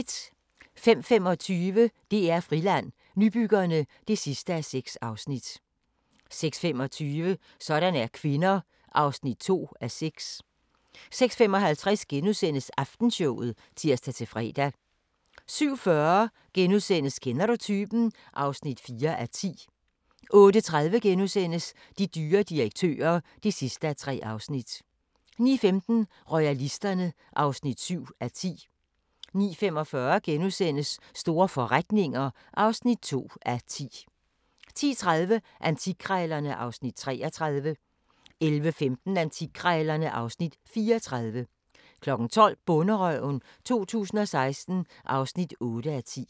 05:25: DR-Friland: Nybyggerne (6:6) 06:25: Sådan er kvinder (2:6) 06:55: Aftenshowet *(tir-fre) 07:40: Kender du typen? (4:10)* 08:30: De dyre direktører (3:3)* 09:15: Royalisterne (7:10) 09:45: Store forretninger (2:10)* 10:30: Antikkrejlerne (Afs. 33) 11:15: Antikkrejlerne (Afs. 34) 12:00: Bonderøven 2016 (8:10)